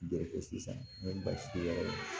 Joli ko sisan n bɛ baasi yaala